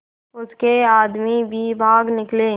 उसके आदमी भी भाग निकले